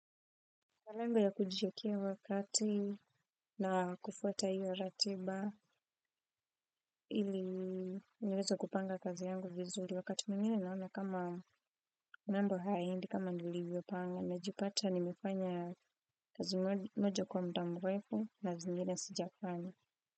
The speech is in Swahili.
Lengo ya kutijikia wakati na kufuata hiyo ratiba ili niweze kupanga kazi yangu vizuri wakati mwingine naona kama mambo haendi kama nilivyo panga najipata nimefanya kazi moja kwa mudamrefu na zingine sijafanya.